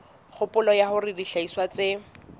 kgopolo ya hore dihlahiswa tse